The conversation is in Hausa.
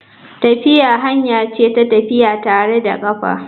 Tafiya hanya ce ta tafiya tare da kafa.